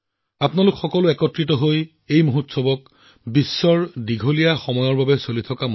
আপোনালোক সকলোৱে মিলি ইয়াক বিশ্বৰ অন্যতম দীৰ্ঘদিনীয়া উৎসৱ হিচাপে গঢ়ি তুলিছে